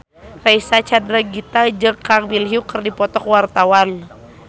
Reysa Chandragitta jeung Kang Min Hyuk keur dipoto ku wartawan